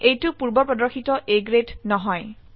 এইটো পূৰ্ব প্ৰদৰ্শিত A গ্ৰেড নহয়